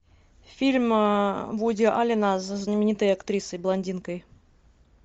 фильм вуди аллена со знаменитой актрисой блондинкой